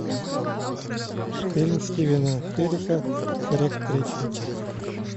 фильм стивена херрика шрек третий